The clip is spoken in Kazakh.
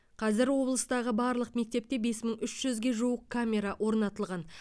қазір облыстағы барлық мектепте бес мың үш жүзге жуық камера орнатылған